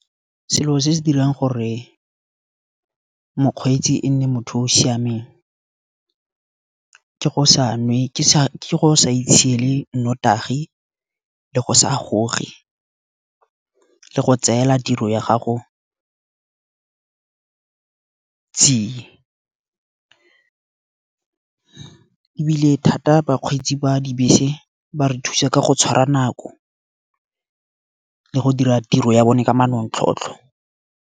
selo se se dirang gore mokgweetsi e nne motho o o siameng ke go sa itshiele nnotagi, le go sa goge, le go tseela tiro ya gago tsie. Ebile thata bakgweetsi ba dibese ba re thusa ka go tshwara nako le go dira tiro ya bone ka manontlhotlho.